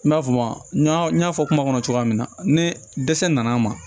I m'a fɔ maa n y'a fɔ kuma kɔnɔ cogoya min na ni dɛsɛ nana ma